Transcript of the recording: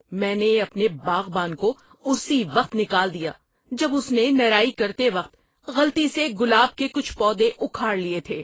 میں نے اپنے باغبان کو اسی وقت نکال دیا جب اس نے نرائی کرتے وقت غلطی سے گلاب کے کچھ پودے اکھاڑ لیے تھے۔